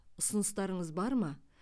ұсыныстарыңыз бар ма